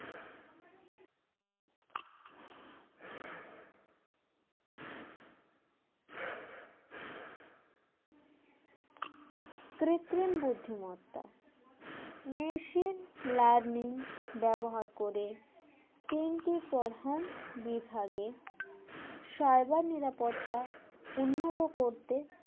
কৃত্রিম বুদ্ধিমত্তা machine learning ব্যবহার করে তিনটি প্রধান বিভাগে cyber নিরাপত্তা উন্নত করতে